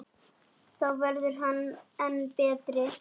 Þá verður hann enn betri.